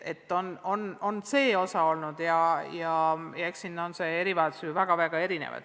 Eks neid erivajadusi ole mitmesuguseid.